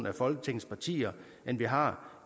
af folketingets partier end vi har